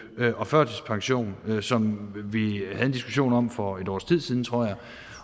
og førtidspension som vi havde en diskussion om for et års tid siden tror jeg